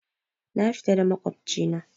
Na fita da maƙwabci na